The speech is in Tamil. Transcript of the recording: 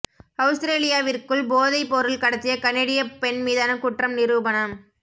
அவுஸ்திரேலியாவிற்குள் போதைப் பொருள் கடத்திய கனேடிய பெண் மீதான குற்றம் நிரூபனம்